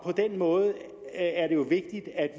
på den måde